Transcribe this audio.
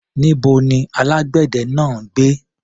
Níbo ni alágbẹ̀dẹ náà ń gbé?